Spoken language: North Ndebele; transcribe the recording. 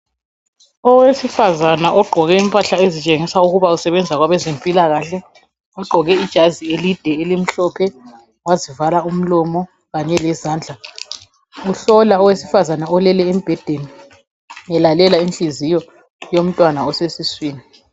Owesifazana ogqoke impahla ezitshengisa ukuba usebenza kwabezempilakahle. Ugqoke ijazi elide elimhlophe. Wazivala umlomo kanye lezandla. Uhlola owesifazana olele embhedeni, elalela inhliziyo, yomntwana osesiswini.